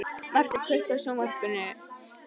Marteinn, kveiktu á sjónvarpinu.